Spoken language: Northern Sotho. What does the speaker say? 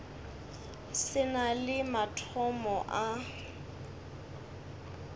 se na le mathomo a